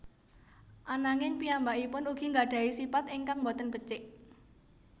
Ananging piyambakipun ugi nggadhahi sipat ingkang boten becik